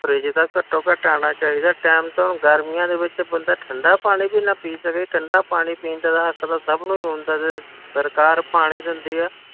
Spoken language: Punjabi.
Fridge ਤਾਂ ਘੱਟੋ ਘੱਟ ਆਉਣ ਚਾਹੀਦਾ time ਤੇ ਹੁਣ ਗਰਮੀਆਂ ਦੇ ਵਿੱਚ ਬੰਦਾ ਠੰਢਾ ਪਾਣੀ ਵੀ ਨਾ ਪੀ ਸਕੇ, ਠੰਢਾ ਪਾਣੀ ਪੀਣ ਦਾ ਤਾਂ ਹੱਕ ਸਭ ਨੂੰ ਹੀ ਹੁੰਦਾ ਜੀ, ਤੇ ਸਰਕਾਰ ਪਾਣੀ ਦਿੰਦੀ ਹੈ,